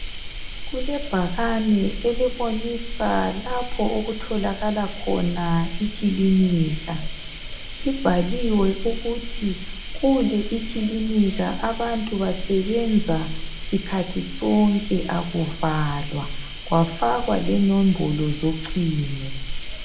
Kulebhakane elibonisa lapho okutholakala khona ikilinika. Libhaliwe ukuthi kule ikilinika abantu basebenza sikhathi sonke akuvalwa, kwafakwa lenombolo zocingo.